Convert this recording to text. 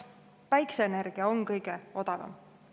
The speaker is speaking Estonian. Päikeseenergia on kõige odavam.